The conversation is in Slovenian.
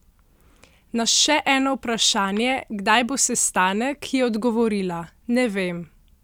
Na še eno vprašanje, kdaj bo sestanek, je odgovorila: "Ne vem.